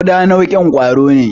Ƙuda nau'in kwaro ne.